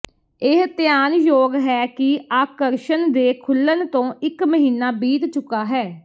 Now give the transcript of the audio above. ਇਹ ਧਿਆਨਯੋਗ ਹੈ ਕਿ ਆਕਰਸ਼ਣ ਦੇ ਖੁੱਲਣ ਤੋਂ ਇਕ ਮਹੀਨਾ ਬੀਤ ਚੁੱਕਾ ਹੈ